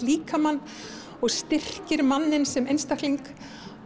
líkamann og styrkir manninn sem einstakling